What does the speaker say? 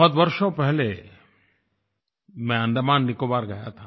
बहुत वर्षों पहले मैं अंडमान निकोबार गया था